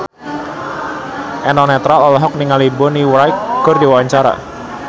Eno Netral olohok ningali Bonnie Wright keur diwawancara